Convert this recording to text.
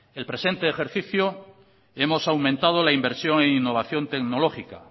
el presente ejercicio hemos aumentado la inversión en innovación tecnológica